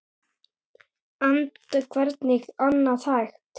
Enda hvernig annað hægt?